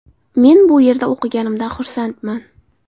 Men bu yerda o‘qiganimdan xursandman.